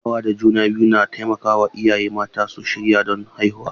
Kulawa da juna biyu na taimaka wa iyaye mata su shirya don haihuwa.